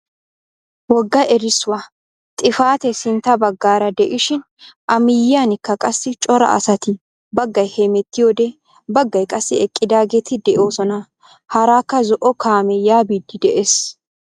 Wogga erissuwaa xifatee sintta baggaara de'ishin a miyiyaanikka qassi cora asati baggay hemettiyoode baggay qassi eqqidaageti de'oosona. haaraka zo"o kaamee yaa biidi de'ees.